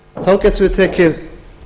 þá gætum við tekið